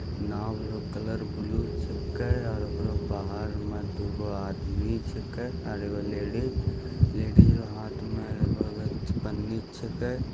नाँव रो colour blue छेके और ओकरो बाहर में दुगो आदमी छेके और एगो लेडीज लेडीज रो हाथ मे एगो पन्नी छेकै ।